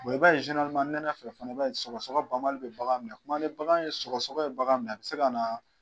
i b'a ye nɛnɛ fɛ fana i b'a ye sɔgɔsɔgɔ banbali bɛ bagan minɛ a bɛ se ka na